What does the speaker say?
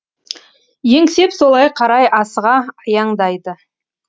еңсеп солай қарай асыға аяңдайды